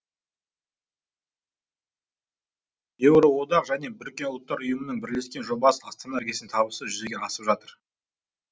еуроодақ және біріккен ұлттар ұйымының бірлескен жобасы астана іргесінде табысты жүзеге асып жатыр